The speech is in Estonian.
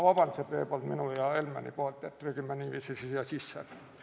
Ma palun veel kord vabandust enda ja Helmeni nimel, et trügime niiviisi siia sisse!